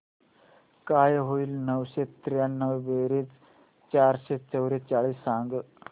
काय होईल नऊशे त्र्याण्णव बेरीज चारशे चव्वेचाळीस सांग